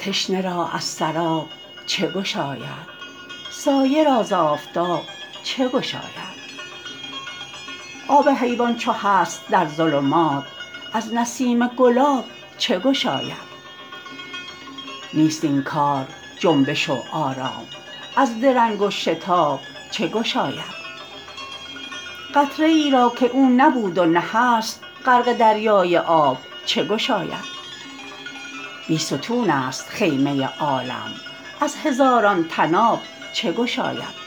تشنه را از سراب چگشاید سایه را ز آفتاب چگشاید آب حیوان چو هست در ظلمات از نسیم گلاب چگشاید نیست این کار جنبش و آرام از درنگ و شتاب چگشاید قطره ای را که او نبود و نه هست غرق دریای آب چگشاید بی ستون است خیمه عالم از هزاران طناب چگشاید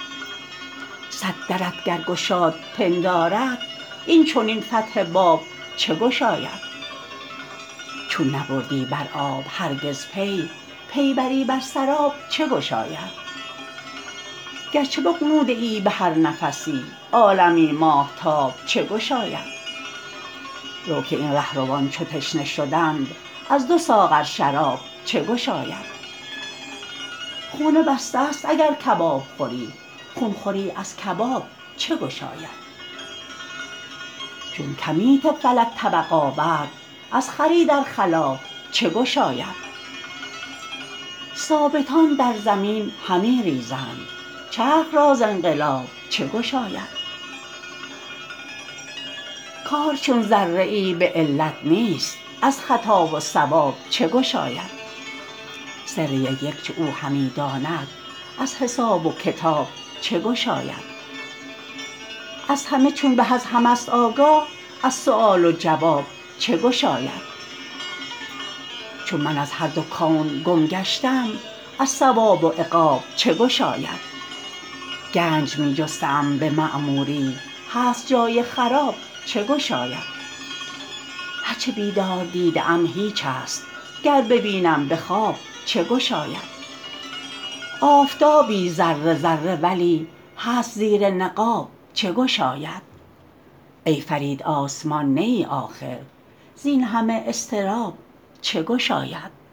صد درت گر گشاد پنداری است این چنین فتح باب چگشاید چون نبردی بر آب هرگز پی پی بری بر سر اب چگشاید گرچه بغنوده ای بهر نفسی عالمی ماهتاب چگشاید رو که این رهروان چو تشنه شدند از دو ساغر شرآب چگشاید خون بسته است اگر کباب خوری خون خوری از کباب چگشاید چون کمیت فلک طبق آورد از خری در خلاب چگشاید ثابتان در زمین همی ریزند چرخ را ز انقلاب چگشاید کار چون ذره ای به علت نیست از خطا و صواب چگشاید سر یک یک چو او همی داند از حساب و کتاب چگشاید از همه چون به از همه است آگاه از سؤال و جواب چگشاید چون من از هر دو کون گم گشتم از ثواب و عقاب چگشاید گنج می جسته ام به معموری هست جای خراب چگشاید هر چه بیدار دیده ام هیچ است گر ببینم به خواب چگشاید آفتابی است ذره ذره ولی هست زیر نقاب چگشاید ای فرید آسمان نه ای آخر زین همه اضطراب چگشاید